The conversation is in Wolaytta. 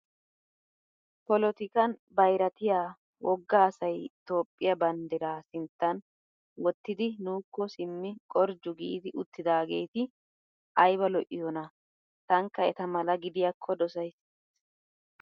Polotikan bayiratiyaa wogga asayi Toophphiyaa banddiraa sinttan wottidi nuuko simmidi qorjju giidi uttidaageeti ayiba lo'iyoona! tankka eta mala gidiyaakko dosayisi.